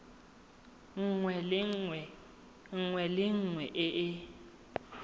nngwe le nngwe e e